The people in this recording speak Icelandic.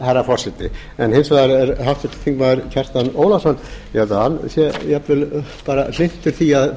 herra forseti hins vegar er háttvirtur þingmaður kjartan ólafsson ég held að hann sé jafnvel bara hlynntur því að